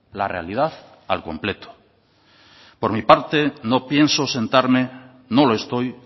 la realidad al completo por mi parte no pienso sentarme no lo estoy